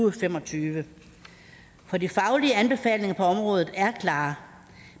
og fem og tyve for de faglige anbefalinger på området er klare